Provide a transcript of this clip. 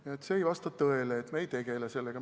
Nii et see ei vasta tõele, et me ei tegele sellega.